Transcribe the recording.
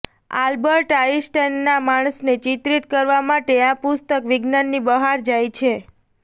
Albert આઇન્સ્ટાઇનના માણસને ચિત્રિત કરવા માટે આ પુસ્તક વિજ્ઞાનની બહાર જાય છે